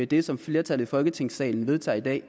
det som flertallet i folketingssalen vedtager i dag og